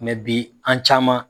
bi an caman